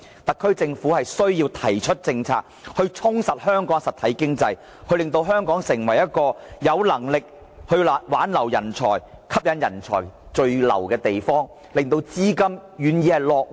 特區政府必須提出政策，充實香港的實體經濟，令香港能夠挽留人才、吸引人才聚留、令資金願意落戶。